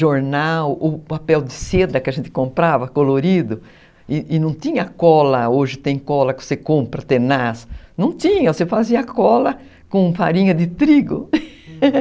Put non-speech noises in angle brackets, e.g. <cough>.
jornal, o papel de seda que a gente comprava, colorido, e e não tinha cola, hoje tem cola que você compra, <unintelligible> não tinha, você fazia cola com farinha de trigo, <laughs>